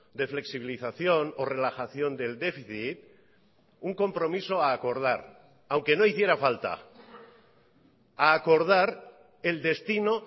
de flexibilización o relajación del déficit un compromiso a acordar aunque no hiciera falta a acordar el destino